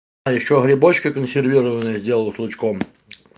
а ещё грибочки консервированные сделаю с лучком